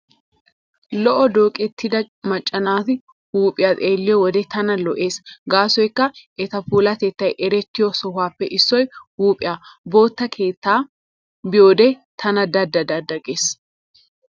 Lo'o dooqettida macca naati huuphiyaa xeelliyo wode tana lo"ees gaasoykka eta puulatettay erettiyo sohuwaappe issoy huuphiyaa. Bootta keettaa be'iyoode tana da da gees.